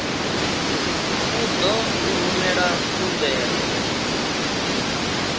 u ḓo u rumela khumbelo